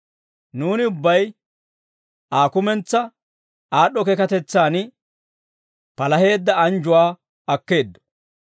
Nuuni ubbay Aa kumentsaa aad'd'o keekatetsaan palaheedda anjjuwaa akkeeddo.